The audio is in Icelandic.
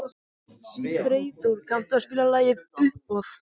Freyþór, kanntu að spila lagið „Uppboð“?